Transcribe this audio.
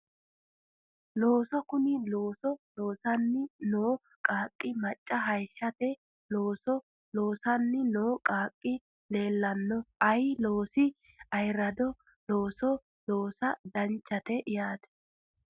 Looso kuni looso loosanni noo qaaqqi caamma hayishate looso loosanni noo qaaqqi leellanno ayee loosino ayerradoho looso loosa danchate yaate